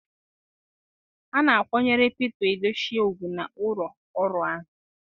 A na-akwanyere pete Edochie ugwu na ụlọ ọrụ ahụ.